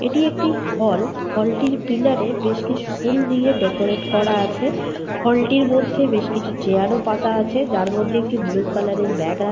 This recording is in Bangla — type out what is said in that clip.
এটি একটি হল । হল টির পিলারে বেশ কিছু ফুল দিয়ে ডেকোরেট করা আছে । হল টির মধ্যে বেশ কিছু চেয়ার ও পাতা আছে। যার মধ্যে একটি বুলু কালার এর ব্যাগ রাখা --